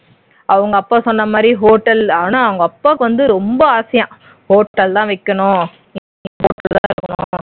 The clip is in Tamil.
அவங்க அப்பா சொன்ன மாதிரி hotel ஆனா உங்க அப்பாக்கு வந்து ரொம்ப ஆசையா hotel தான் வைக்கணும்